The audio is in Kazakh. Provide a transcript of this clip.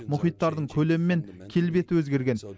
мұхиттардың көлемі мен келбеті өзгерген